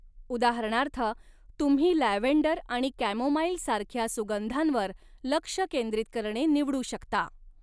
उदाहरणार्थ, तुम्ही लॅव्हेंडर आणि कॅमोमाईल सारख्या सुगंधांवर लक्ष केंद्रित करणे निवडू शकता.